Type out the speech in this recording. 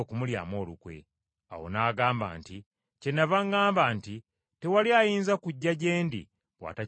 Awo n’agamba nti, “Kyennava ŋŋamba nti tewali ayinza kujja gye ndi bw’atakiweebwa Kitange.”